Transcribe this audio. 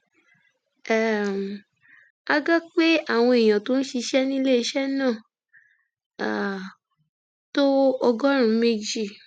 um a gbọ pé àwọn èèyàn tó ń ṣiṣẹ níléeṣẹ náà um tó ọgọrùnún méjì